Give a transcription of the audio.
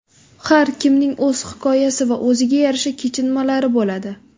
Har kimning o‘z hikoyasi va o‘ziga yarasha kechinmalari bo‘ladi.